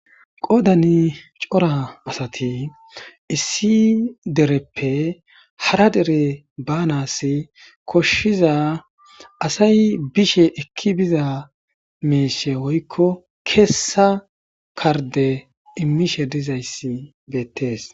qodani cora asati issi dereppe hara dere baanas koshshiza asay bishe ekki biza meeshe woykko keessa karde immishe dizayssi beettees